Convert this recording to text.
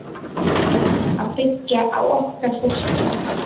Erum að byggja á okkar fólki